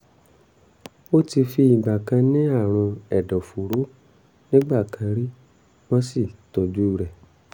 ó ti fi ìgbà kan ní àrùn ẹ̀dọ̀fóró nígbà kan rí wọ́n sì tọ́jú rẹ̀